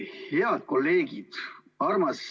Head kolleegid!